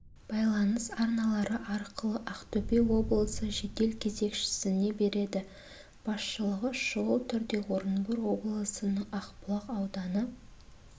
байланыс арналары арқылы ақтөбе облысы жедел кезекшісіне береді басшылығы шұғыл түрде орынбор облысының ақбұлақ ауданы